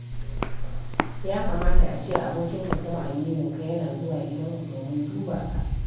Ya kamata a ce abokinka kuma amininka yana zuwa gidanku domin duba ka.